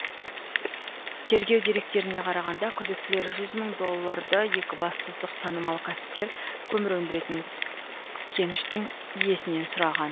тергеу деректеріне қарағанда күдіктілер жүз мың долларды екібастұздық танымал кәсіпкер көмір өндіретін кеніштің иесінен сұраған